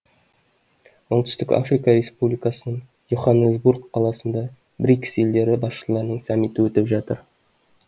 оңтүстік африка республикасының и оханнесбург қаласында брикс елдері басшыларының саммиті өтіп жатыр